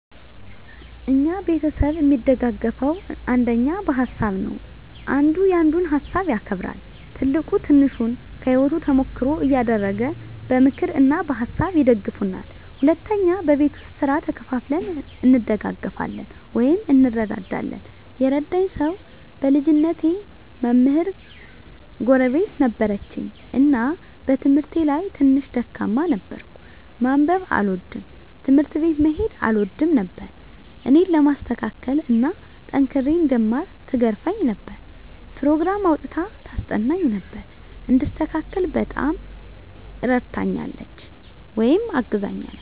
እኛ ቤተሰብ እሚደጋገፈዉ አንደኛ በሀሳብ ነዉ። አንዱ ያንዱን ሀሳብ ያከብራል፣ ትልቁ ትንሹን ከህይወቱ ተሞክሮ እያደረገ በምክር እና በሀሳብ ይደግፉናል። ሁለተኛ በቤት ዉስጥ ስራ ተከፋፍለን እንደጋገፋለን (እንረዳዳለን) ። የረዳኝ ሰዉ በልጅነቴ መምህር ጎረቤት ነበረችን እና በትምህርቴ ላይ ትንሽ ደካማ ነበርኩ፤ ማንበብ አልወድም፣ ትምህርት ቤት መሄድ አልወድም ነበር እኔን ለማስተካከል እና ጠንክሬ እንድማር ትገርፈኝ ነበር፣ ኘሮግራም አዉጥታ ታስጠናኝ ነበር፣ እንድስተካከል በጣም እረድታኛለች(አግዛኛለች) ።